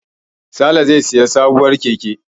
Sale zai sayi sabuwar keke.